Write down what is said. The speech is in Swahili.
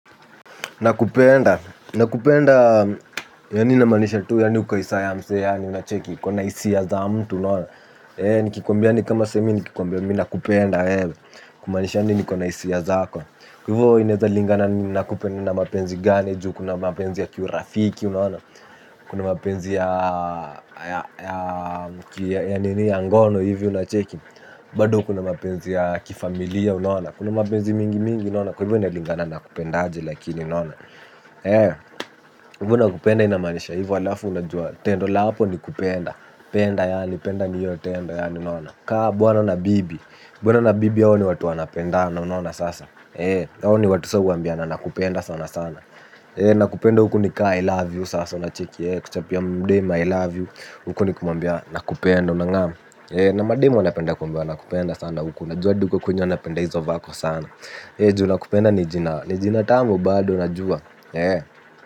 Nakupenda, nakupenda yaani ninamaanisha tu yaani ukae isa ya msee yaani unacheki, uko na hisia za mtu unaona. Eeh nikikuambia ni kama sai mi nikikwambia mi na kupenda wewe, kumaanisha yaani niko na hisia zako. Kwa hivyo inaezalingana na kupenda na mapenzi gani ju, kuna mapenzi ya kiurafiki unaona. Kuna mapenzi ya ya nini ya ngono hivi unacheki, bado kuna mapenzi ya kifamilia unaona. Kuna mapenzi mingi mingi unaona, kwa hivyo inalingana nakupenda aje lakini unaona hivyo nakupenda inamaanisha hivyo alafu unajua tendo la hapo ni kupenda penda yaani penda ni hiyo tendo yaani unaona kama bwana na bibi. Bwana na bibi wao ni watu wanapendana unaona sasa wao ni watu sasa huambiana nakupenda sana sana. Nakupenda huku ni kaa I love you sasa. Unacheki kuchapia dem I love you. Huku ni kumuambia nakupenda. Unang'am na madem wanapenda kuambia nakupenda sana huku najua hadi uko kwenye wanapenda hizo vako sana juu nakupenda ni jina. Ni jina tamu bado unajua.